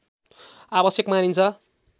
आवश्यक मानिन्छ